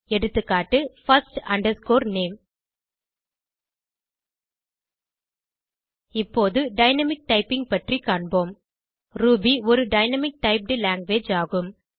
எகா160 first name இப்போது dynamic typing பற்றி காண்போம் ரூபி ஒரு டைனாமிக் டைப்ட் லாங்குவேஜ் ஆகும்